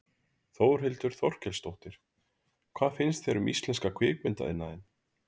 Þórhildur Þorkelsdóttir: Hvað finnst þér um íslenska kvikmyndaiðnaðinn?